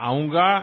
అలాగే